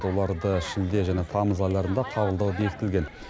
оларды шілде және тамыз айларында қабылдау бекітілген